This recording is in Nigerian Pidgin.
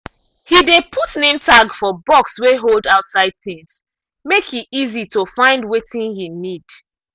he dey put name tag for box wey hold outside things make e easy to find wetin he need.